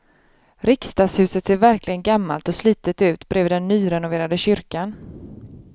Riksdagshuset ser verkligen gammalt och slitet ut bredvid den nyrenoverade kyrkan.